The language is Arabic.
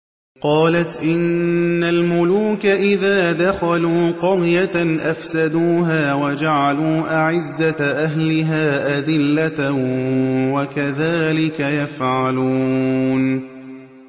قَالَتْ إِنَّ الْمُلُوكَ إِذَا دَخَلُوا قَرْيَةً أَفْسَدُوهَا وَجَعَلُوا أَعِزَّةَ أَهْلِهَا أَذِلَّةً ۖ وَكَذَٰلِكَ يَفْعَلُونَ